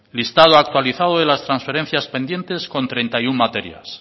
listado actualizado de las transferencias pendientes con treinta y uno materias